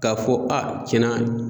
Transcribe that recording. K'a fɔ a tiɲɛna